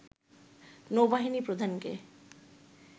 নৌ-বাহিনী প্রধানকে